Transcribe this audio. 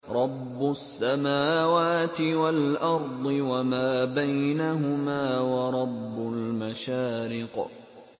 رَّبُّ السَّمَاوَاتِ وَالْأَرْضِ وَمَا بَيْنَهُمَا وَرَبُّ الْمَشَارِقِ